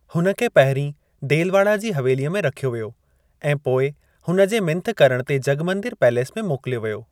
हुन खे पहिरीं देलवाड़ा जी हवेलीअ में रखियो वियो ऐं पोइ हुन जे मिंथ करण ते जगमंदिर पैलेस में मोकिलियो वियो।